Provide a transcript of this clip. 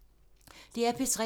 DR P3